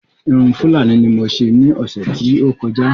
Irun Fúlàní ní mo ṣe ní ọ̀sè tí o kọjá